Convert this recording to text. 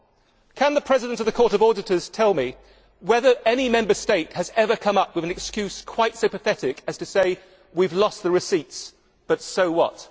Can the President of the Court of Auditors tell me whether any Member State has ever come up with an excuse quite so pathetic as we have lost the receipts, but so what'?